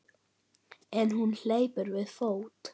En hún hleypur við fót.